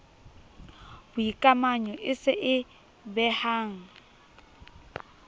boikamanyo e se e behang